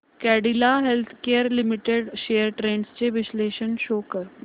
Cadila healthcare limited shares trends चे विश्लेषण show कर